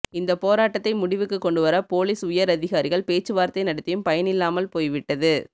இந்த போராட்டத்தை முடிவுக்கு கொண்டுவர போலீஸ் உயர் அதிகாரிகள் பேச்சுவார்த்தை நடத்தியும் பயனில்லாமல் போய்விட்டது